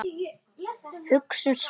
Hugsum svart.